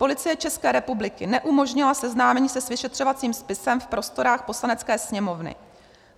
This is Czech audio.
Policie České republiky neumožnila seznámení se s vyšetřovacím spisem v prostorách Poslanecké sněmovny.